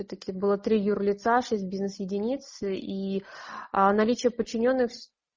этаки было три юр лица шесть бизнес единиц и наличие подчинённых